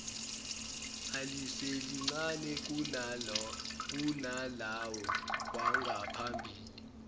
aliselincane kunalawo wangaphambili